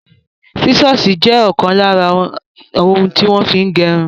Sísọ̀sì jẹ ọkan lára ohun tí wọ́n fí ń gẹrun.